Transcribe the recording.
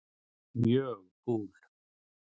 Mjög kúl.